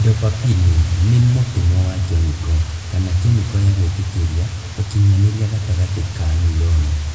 Dopapine nĩ mũtũmwo wa kemiko, kana kemiko ya gwĩtĩkĩria ũkinyanĩria gatagatĩ ka nuroni